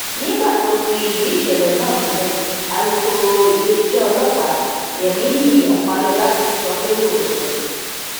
nígbà tó ń fìdí ìṣẹlẹ náà múlẹ alūkkóró iléeṣẹ ọlọpàá yemini ọpálọlá sọ pé lóòótọ ni